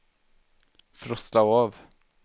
frosta av